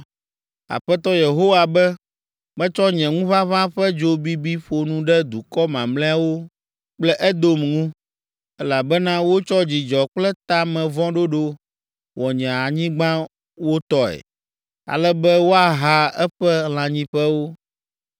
Aƒetɔ Yehowa be, ‘Metsɔ nye ŋuʋaʋã ƒe dzo bibi ƒo nu ɖe dukɔ mamlɛawo kple Edom ŋu, elabena wotsɔ dzidzɔ kple ta me vɔ̃ ɖoɖo wɔ nye anyigba wo tɔe, ale be woaha eƒe lãnyiƒewo.